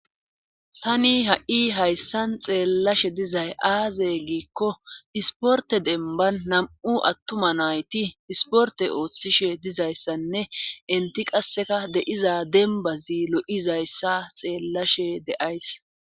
Tani ha7i hayssan xeellashe dizay aaze giikko isporte denban nam7u attuma nayti isporte ooththishe dizayssanne inti qasseka de7iza dembazi lo7izayssa xeellashe de7ays.